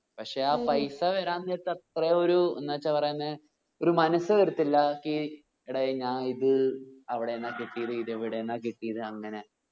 പക്ഷെ ആ പൈസ വരാൻ നേരത്ത്‌ അത്ര ഒരു എന്ന് വെച്ച പറയുന്നേ ഒരു മനസ് വരത്തില്ല ഈ എടേയ് ഞാൻ ഇത് അവിടെന്നാ കിട്ടിയത് ഇത് ഇവീടെന്നാ കിട്ടിയത് അങ്ങനെ